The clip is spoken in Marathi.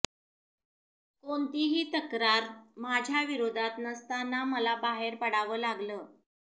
कोणतीही तक्रार माझ्या विरोधात नसताना मला बाहेर पडावं लागलं